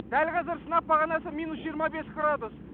дәл қазір сынап бағанасы минус жиырма бес градус